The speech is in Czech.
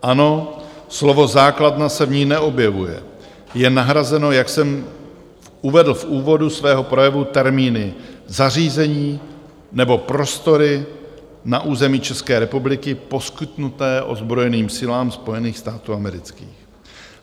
Ano, slovo základna se v ní neobjevuje, je nahrazeno, jak jsem uvedl v úvodu svého projevu, termíny "zařízení nebo prostory na území České republiky poskytnuté ozbrojeným silám Spojených států amerických".